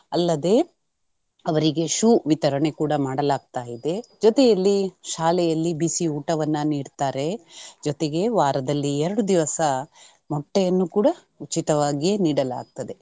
ಅಲ್ಲದೆ ಅವರಿಗೆ shoe ವಿತರಣೆ ಕೂಡಾ ಮಾಡಲಾಗ್ತಾಯಿದೆ. ಜೊತೆಯಲ್ಲಿ ಶಾಲೆಯಲ್ಲಿ ಬಿಸಿ ಊಟವನ್ನ ನೀಡ್ತಾರೆ ಜೊತೆಗೆ ವಾರದಲ್ಲಿ ಎರಡು ದಿವಸಾ ಮೊಟ್ಟೆಯನ್ನು ಕೂಡಾ ಉಚಿತವಾಗಿ ನೀಡಲಾಗ್ತದೆ.